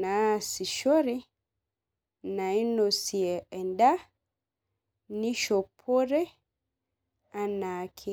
naasishore. naonosie eda. nishopore anaake.